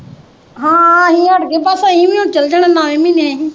ਹਾਂ ਆਹ ਅਸੀ ਹਟਗੇ ਬਸ ਅਸੀ ਵੀ ਹੁਣ ਚਲ ਜਾਣਾ ਨੋਵੇ ਮਹੀਨੇ ਅਸੀ।